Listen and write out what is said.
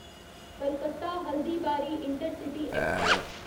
Calcutta Haldibari intercity express